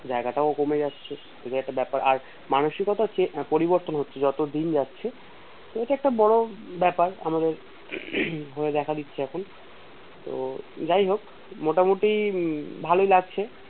জায়গাটাও কমে যাচ্ছে এটাও একটা ব্যাপার আর মানসিকতার পরিবর্তন হচ্ছে যতদিন যাচ্ছে তো ওটা একটা বড় বেপার আমাদের হয়ে দেখা দিচ্ছে এখন তো যাইহোক মোটামুটি ভালোই লাগছে